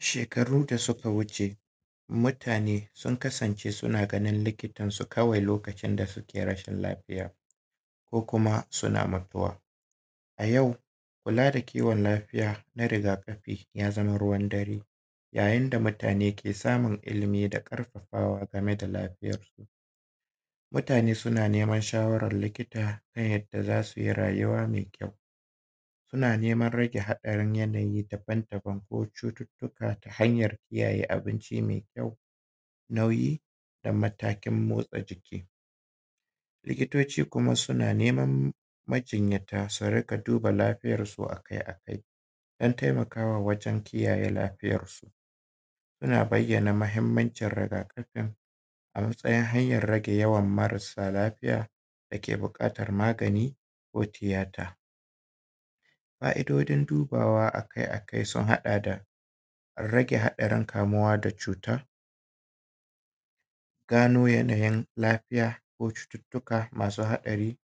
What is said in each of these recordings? Shekaru da suka wuce mutane sun kasance suna ganin likitansu kawai ne lokacin da suke rashin lafiya ko kuma suna makuwa. A yau kula da kiwon lafiya na rigakafi ya zama ruwan dare, ya yin da mutane ke samun ilimi da karfafawa game da lafiyansu. Mutan suna neman shawaran likita ta yadda za su yi rayuwa mai kyau, suna neman rage haɗari yanayi dabam dabam ko cututuka ta hanyar kiyayye abinci mai kyau, nauyi da matakin motsa jiki. likitoci kuma suna neman majinyata su dinga duba lafiyarsu akai akai, don taimaka wajen kiyayye lafiyarsu. Suna bayyana mahimmancin rigakafin a matsiyin hanyar rage yawan marasa lafiya dake bukatan magani ko tiyata. Fa’idojin dubawa akai akai sun haɗa da rage haɗarin kamuwa da cutan, gano yana yin lafiya ko cututuka masu haɗari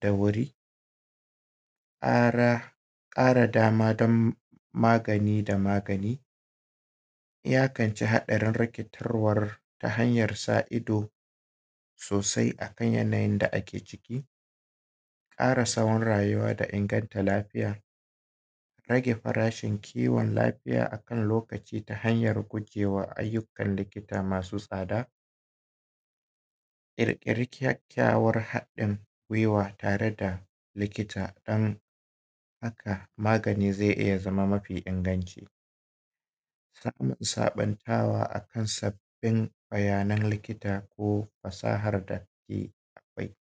da wuri, ƙara dama dam magani da magani, iyakan a ce hadarin rage tarwar ta hanya sa ido sosai akan yana yin da ake ciki, ƙara tsahon rayuwa da inganta lafiya, rage farashin kiwon lafiya akan lokaci ta hanyar gujewa ayyukan da ke masu tsada, ƙirƙiran kyakkyawan hadin gwiwa tare da likita don haka magani zai iya zama mafi inganci, samun sabuntawa akan sabbin bayanan likita ko fasahar da take akwai.